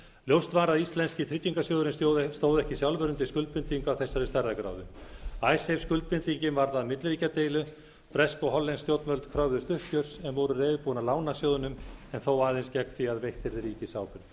ljóst var að íslenski tryggingarsjóðurinn stóð ekki sjálfur undir skuldbindingu af þessari stærðargráðu skuldbindingin varð að milliríkjadeilu bresk og hollensk stjórnvöld kröfðust uppgjörs en voru reiðubúin að lána sjóðnum en þó aðeins gegn því að veitt yrði